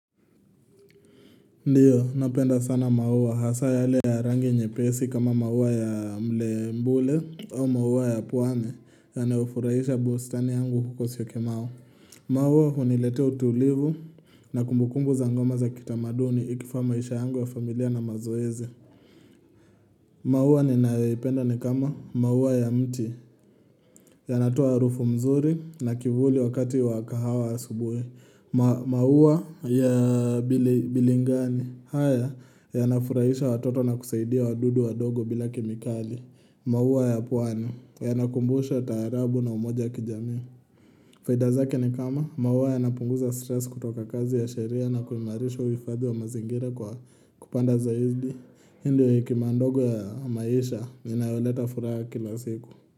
Ndio, napenda sana mauwa. Hasa yale ya rangi nyepesi kama mauwa ya mle mbule au mauwa ya puwane yanayofurahisha busitani yangu huko syokimau Mauwa huniletea utulivu na kumbukumbu za ngoma za kitamaduni ikifaa maisha yangu wa familia na mazoezi. Mauwa ni naipenda ni kama mauwa ya mti ya natuwa rufu mzuri na kivuli wakati wakahawa ya subuhi. Mauwa ya bilingani haya ya nafurahisha watoto na kusaidia wadudu wa dogo bila kimikali Mauwa ya puwane Yanakumbusha taarabu na umoja kijami faida zake ni kama Mauwa yanapunguza stress kutoka kazi ya sheria na kuimarisha uifadhi wa mazingira kwa kupanda zaidi ile hekima ndogo ya maisha inayoleta furaha kila siku.